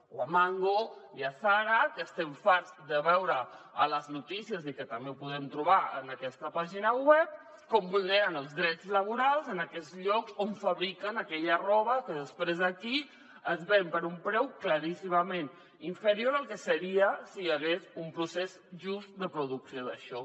o a mango i a zara que estem farts de veure a les notícies i que també ho podem trobar en aquesta pàgina web com vulneren els drets laborals en aquests llocs on fabriquen aquella roba que després aquí es ven per un preu claríssimament inferior al que seria si hi hagués un procés just de producció d’això